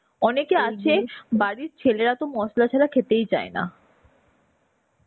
অনেকে আছে বাড়ির ছেলেরাতো মশলা ছাড়া খেতেই চায়না.